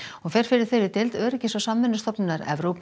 hún fer fyrir þeirri deild Öryggis og samvinnustofnunar Evrópu